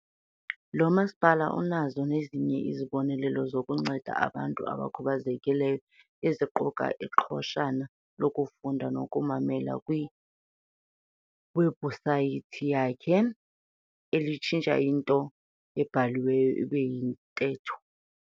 Lo masipala unazo nezinye izibonelelo zokunceda abantu abakhubazekileyo eziquka iqhoshana lokufunda nokumamela kwiwebhusayithi yakhe elitshintsha into ebhaliweyo ibe yintetho.